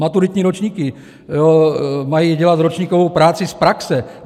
Maturitní ročníky mají dělat ročníkovou práci z praxe.